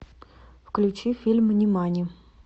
включи фильм нимани